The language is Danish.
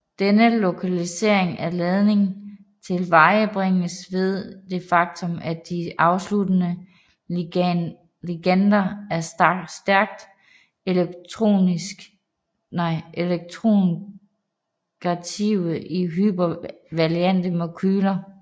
Denne lokalisering af ladning tilvejebringes ved det faktum at de afsluttende ligander er stærkt elektronegative i hypervalente molekyler